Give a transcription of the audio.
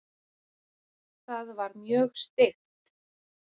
Það var mjög steikt.